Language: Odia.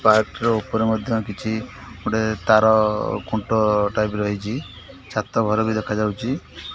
ପାରଟିର ଉପରେ ମଧ୍ୟ କିଛି ଗୋଟେ ତାର ଖୁଣ୍ଟ ଟାଇପ ର ହେଇଚି। ଛାତ ଘର ବି ଦେଖାଯାଉଚି।